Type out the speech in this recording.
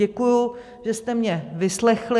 Děkuji, že jste mě vyslechli.